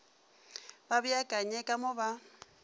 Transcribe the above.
ba beakanye ka mo ba